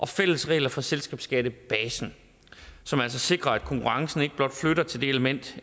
fælles regler for selskabsskattebasen som altså sikrer at konkurrencen ikke blot flytter til det element